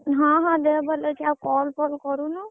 ହଁ ହଁ ଦେହ ଭଲ ଅଛି ଆଉ call ଫଲ କରୁନୁ?